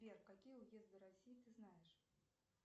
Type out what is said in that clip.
сбер какие уезды россии ты знаешь